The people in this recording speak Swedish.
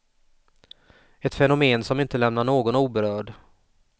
Ett fenomen som inte lämnar någon oberörd.